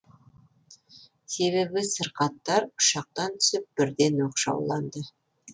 себебі сырқаттар ұшақтан түсіп бірден оқшауланды